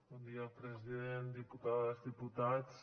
bon dia president diputades diputats